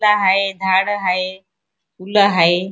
ला हाय झाड हाय फुल हाय.